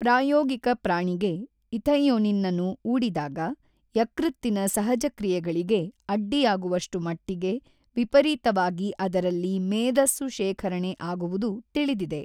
ಪ್ರಾಯೋಗಿಕ ಪ್ರಾಣಿಗೆ ಇಥೈಯೊನಿನ್ನನ್ನು ಊಡಿದಾಗ ಯಕೃತ್ತಿನ ಸಹಜಕ್ರಿಯೆಗಳಿಗೆ ಅಡ್ಡಿಯಾಗುವಷ್ಟು ಮಟ್ಟಿಗೆ ವಿಪರೀತವಾಗಿ ಅದರಲ್ಲಿ ಮೇದಸ್ಸು ಶೇಖರಣೆ ಆಗುವುದು ತಿಳಿದಿದೆ.